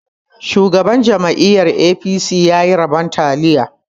Shugaban jam'iyar 'A.P.C' ya yi rabon taliya